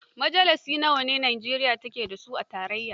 Majalisa nawa Najeriya take a su a tarayya?